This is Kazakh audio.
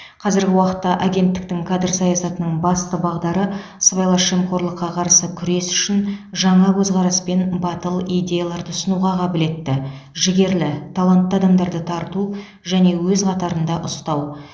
қазіргі уақытта агенттіктің кадр саясатының басты бағдары сыбайлас жемқорлыққа қарсы күрес үшін жаңа көзқарас пен батыл идеяларды ұсынуға қабілетті жігерлі талантты адамдарды тарту және өз қатарында ұстау